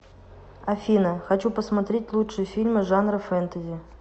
афина хочу посмотреть лучшие фильмы жанра фентази